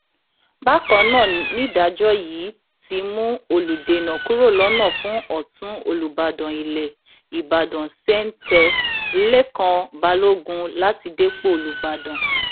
bákan náà nìdájọ yìí ti mú olùdènà kúrò lọnà fún ọtún olùbàdàn ilẹ ìbàdàn sèǹtẹ lèkàn balógun láti dépò olùbàdàn